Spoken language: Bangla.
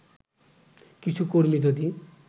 কিছু কর্মী যদি